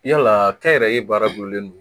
Yalaa kɛ n yɛrɛ ye baara gulolen don